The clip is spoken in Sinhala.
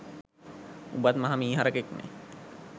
උඹත් මහ මී හරකෙක්නෙ